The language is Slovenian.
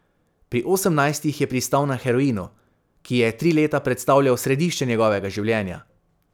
Pri osemnajstih je pristal na heroinu, ki je tri leta predstavljal središče njegovega življenja.